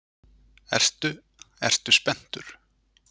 Ertu, ertu spenntur?